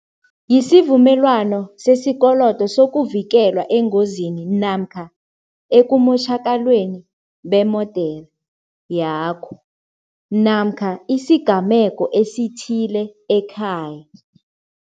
Yisivumelwano sesikolodo sokuvikelwa engozini namkha ekumotjhakalweni bemodere yakho namkha isigameko esithile ekhaya.